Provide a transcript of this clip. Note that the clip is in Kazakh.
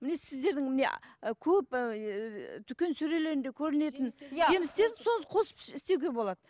міне сіздердің міне көп ііі дүкен сөрелеріндегі көрінетін жемістерді соны қосып істеуге болады